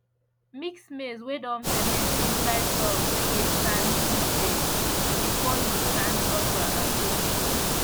mix maize whey don ferment inside soil whey get sand seed beds before you plant okra or pepper